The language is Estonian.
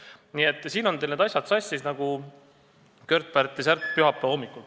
Nii et teil on need asjad sassis nagu Kört-Pärtli särk pühapäeva hommikul.